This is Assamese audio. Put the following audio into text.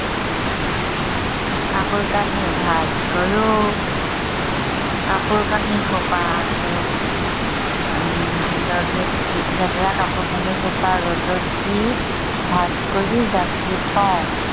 কাপোৰ কানি ভাঁজ কৰো। কাপোৰ কানি সোপা আকৌ উম ৰদত দি লেতেৰা কাপোৰ কানি সোপা ৰদত দি, ভাঁজ কৰি জাপি থও।